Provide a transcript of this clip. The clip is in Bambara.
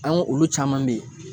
An ka olu caman bɛ yen